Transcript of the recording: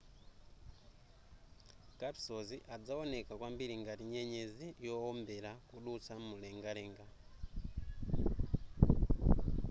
kapisozi adzawoneka kwambiri ngati nyenyezi yowombera kudutsa m'mulengalenga